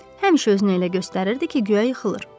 Həmişə özünü elə göstərirdi ki, guya yıxılır.